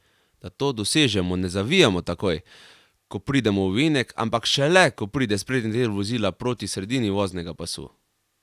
Da to dosežemo, ne zavijamo takoj, ko pridemo v ovinek, ampak šele, ko pride sprednji del vozila proti sredini voznega pasu.